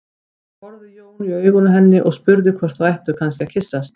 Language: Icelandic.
Þá horfði Jón í augun á henni og spurði hvort þau ættu kannski að kyssast.